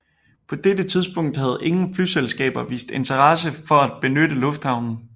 På dette tidspunkt havde ingen flyselskaber vist interesse for at benytte lufthavnen